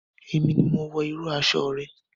Èmi ni mo wọ irú aṣọ rẹ.